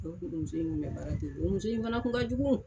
muso in minɛ baga te yen. Muso in fana kun ka jugu.